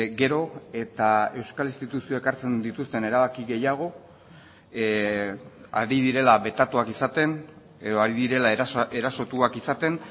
gero eta euskal instituzioak hartzen dituzten erabaki gehiago ari direla betatuak izaten edo ari direla erasotuak izaten